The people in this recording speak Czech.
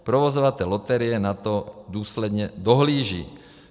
Provozovatel loterie na to důsledně dohlíží.